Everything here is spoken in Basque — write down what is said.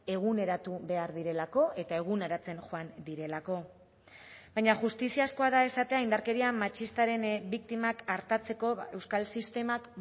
eguneratu behar direlako eta eguneratzen joan direlako baina justiziazkoa da esatea indarkeria matxistaren biktimak artatzeko euskal sistemak